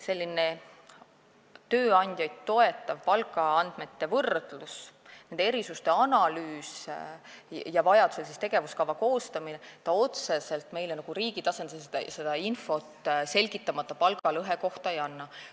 Selline tööandjaid toetav palgaandmete võrdlus, nende erisuste analüüs ja vajadusel tegevuskava koostamine meile riigi tasandil otseselt infot selgitamata palgalõhe kohta ei anna.